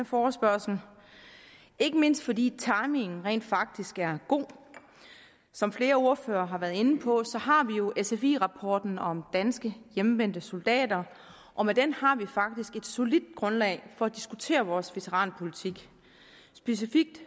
forespørgsel ikke mindst fordi timingen rent faktisk er god som flere ordførere har været inde på har vi jo sfi rapporten om danske hjemvendte soldater og med den har vi faktisk et solidt grundlag for at diskutere vores veteranpolitik specifikt